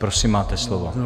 Prosím, máte slovo.